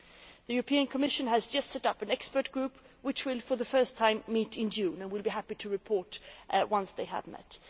The European Commission has just set up an expert group which will meet for the first time in June, and we will be happy to report once they have met.